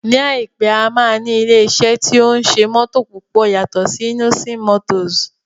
Ní àìpé, a máa ní ilé iṣẹ́ tí ó ń ṣe mótò púpọ̀ yàtọ̀ sí Innoson motors